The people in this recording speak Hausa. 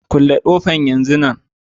Kulle kofan yanzun nan.